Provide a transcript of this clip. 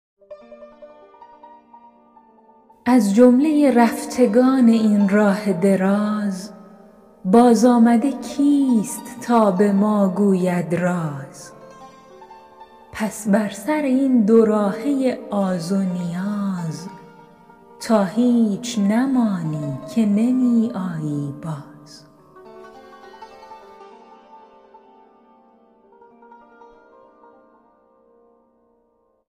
از جمله رفتگان این راه دراز بازآمده کیست تا به ما گوید راز پس بر سر این دو راهه آز و نیاز تا هیچ نمانی که نمی آیی باز